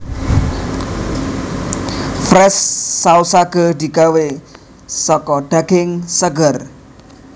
Fresh Sausage digawé saka daging seger